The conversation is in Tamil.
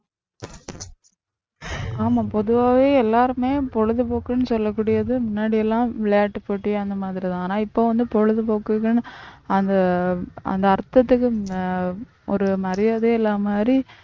ஆமாம் பொதுவாவே எல்லாருமே பொழுதுபோக்குன்னு சொல்லக்கூடியது முன்னாடி எல்லாம் விளையாட்டுப் போட்டி அந்த மாதிரிதான் ஆனால் இப்ப வந்து பொழுதுபோக்குகள் அந்த அந்த அர்த்தத்துக்கு ஒரு மரியாதையே இல்லாத மாதிரி